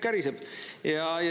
Käriseb!